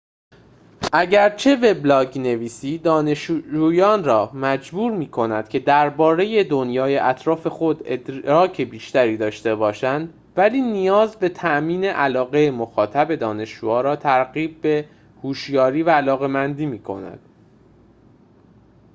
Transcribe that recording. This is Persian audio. اگرچه وبلاگ‌نویسی «دانشجویان را مجبور می‌کند که درباره دنیای اطراف خود ادراک بیشتری داشته باشند،» ولی نیاز به تأمین علاقه مخاطب دانشجوها را ترغیب به هوشیاری و علاقمندی می‌کند toto 2004